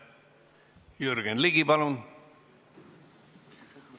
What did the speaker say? Jürgen Ligi, palun!